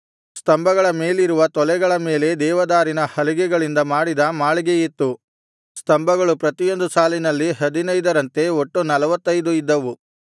ಸ್ತಂಭಗಳ ಮೇಲಿರುವ ತೊಲೆಗಳ ಮೇಲೆ ದೇವದಾರಿನ ಹಲಿಗೆಗಳಿಂದ ಮಾಡಿದ ಮಾಳಿಗೆಯಿತ್ತು ಸ್ತಂಭಗಳು ಪ್ರತಿಯೊಂದು ಸಾಲಿನಲ್ಲಿ ಹದಿನೈದರಂತೆ ಒಟ್ಟು ನಲ್ವತ್ತೈದು ಇದ್ದವು